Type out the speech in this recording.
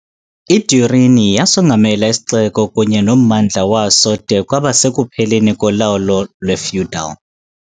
I-Durini yasongamela isixeko kunye nommandla waso de kwaba sekupheleni kolawulo lwe-feudal.